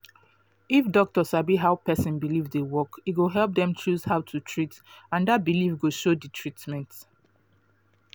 if doctor sabi how person believe dey work e go help dem choose how to treat and that belief go show the treatment